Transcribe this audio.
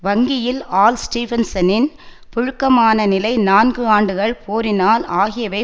வங்கியில் ஆல் ஸ்டீபன்சனின் புழுக்கமான நிலை நான்கு ஆண்டுகள் போரினால் ஆகியவை